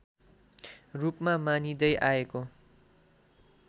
रूपमा मानिँदै आएको